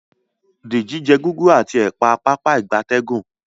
Deji jé Gúgúrú ati ẹpa Pápá ìgbatẹ́gùn